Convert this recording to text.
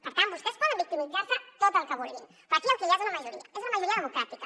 per tant vostès poden victimitzar se tant com vulguin però aquí el que hi ha és una majoria és una majoria democràtica